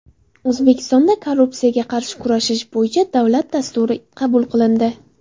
O‘zbekistonda Korrupsiyaga qarshi kurashish bo‘yicha davlat dasturi qabul qilindi .